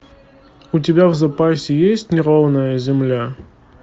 у тебя в запасе есть неровная земля